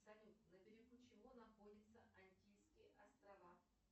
салют на берегу чего находятся антильские острова